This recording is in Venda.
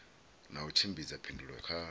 na u tshimbidza phindulo kha